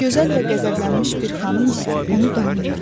Gözəl və qəzəblənmiş bir xanım isə onu danlayırdı.